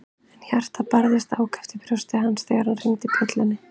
En hjartað barðist ákaft í brjósti hans þegar hann hringdi dyrabjöllunni.